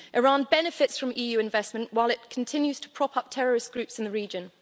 Iran benefits from EU investment while it continues to prop up terrorist groups in the region.